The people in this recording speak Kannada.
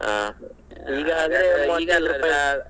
ಹಾ .